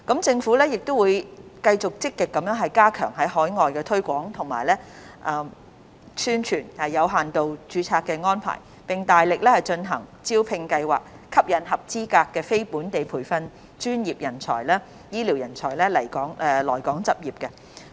政府亦會繼續積極加強在海外推廣及宣傳有限度註冊安排，並大力進行招聘計劃，吸引合資格的非本地培訓醫療專業人員來港執業。